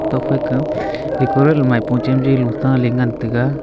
tuak phai kow eko rel mai pua chan jai unta ley ngan tega.